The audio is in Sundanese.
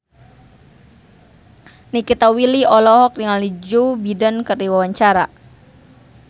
Nikita Willy olohok ningali Joe Biden keur diwawancara